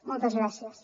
moltes gràcies